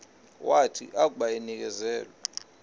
wathi akuba enikezelwe